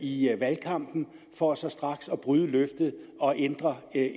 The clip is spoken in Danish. i valgkampen for så straks at bryde løftet og ændre